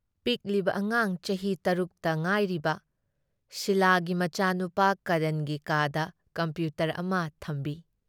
ꯄꯤꯛꯂꯤꯕ ꯑꯉꯥꯡ ꯆꯍꯤ ꯇꯔꯨꯛ ꯇ ꯉꯥꯏꯔꯤꯕ ꯁꯤꯂꯥꯒꯤ ꯃꯆꯥꯅꯨꯄꯥ ꯀꯔꯟꯒꯤ ꯀꯥꯗ ꯀꯝꯄ꯭ꯌꯨꯇꯔ ꯑꯃ ꯊꯝꯕꯤ ꯫